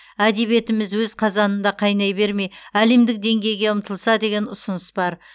әдебиетіміз өз қазанымызда қайнай бермей әдемдік деңгейге ұмтылса деген ұсыныс бар